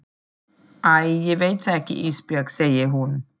Æ ég veit það ekki Ísbjörg, segir hún.